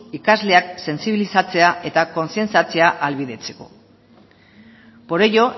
ikasleak sentsibilizatzea eta kontzientziatzea ahalbidetzeko por ello